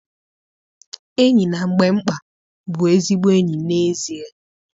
Enyi na mgbe mkpa bụ ezigbo enyi n'ezie.